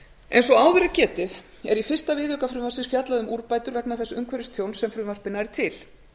eins og áður er getið er í fyrsta viðauka frumvarpsins fjallað um úrbætur vegna þess umhverfistjóns sem frumvarpið nær til